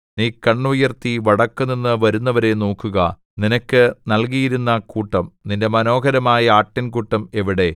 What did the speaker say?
നീ കണ്ണുയർത്തി വടക്കുനിന്നു വരുന്നവരെ നോക്കുക നിനക്ക് നല്കിയിരുന്ന കൂട്ടം നിന്റെ മനോഹരമായ ആട്ടിൻകൂട്ടം എവിടെ